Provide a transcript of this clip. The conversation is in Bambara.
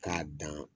K'a dan